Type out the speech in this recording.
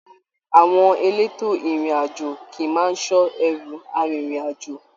Àwọn èlétò ìrìn àjò kìí máa n sọ ẹru arinrin-ajo